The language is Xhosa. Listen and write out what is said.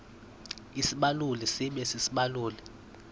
isibaluli sibe sisibaluli